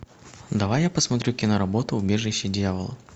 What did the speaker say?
давай я посмотрю киноработу убежище дьявола